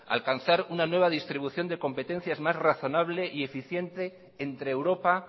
alcanzar una nueva distribución de competencias más razonable y eficiente entre europa